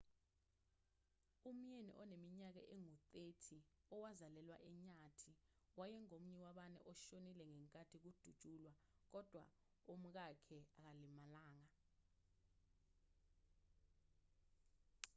umyeni oneminyaka engu-30 owazalelwa enyathi wayengomunye wabane oshonile ngenkathi kudutshulwa kodwa umkakhe akalimalanga